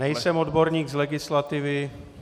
Nejsem odborník z legislativy.